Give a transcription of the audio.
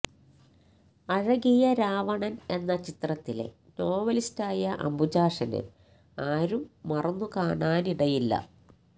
അഴകിയ രാവണന് എന്ന ചിത്രത്തിലെ നോവലിസ്റ്റായ അംബുജാക്ഷനെ ആരും മറന്നുകാണാനിടയില്ല